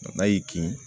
N'a y'i kin